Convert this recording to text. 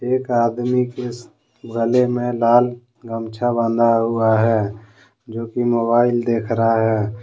एक आदमी के गले में लाल गमछा बांधा हुआ है जो कि मोबाइल देख रहा है।